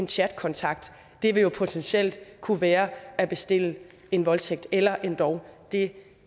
chatkontakt det vil jo potentielt kunne være at bestille en voldtægt eller endog det